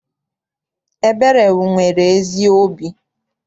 Ebere nwere ezi obi.